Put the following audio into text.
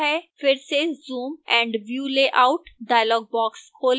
फिर से zoom & view layout dialog box खोलें